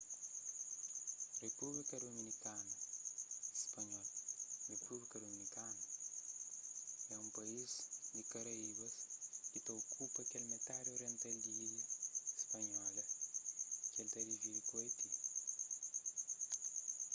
repúblika dominikana spanhol: repúblika dominikana é un país di karaíbas ki ta okupa kel metadi oriental di ilha di hispaniola ki el ta dividi ku haiti